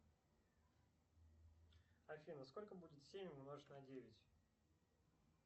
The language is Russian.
афина сколько будет семь умножить на девять